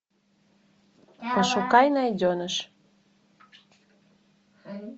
пошукай найденыш